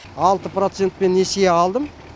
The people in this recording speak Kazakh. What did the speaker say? алты процентпен несие алдым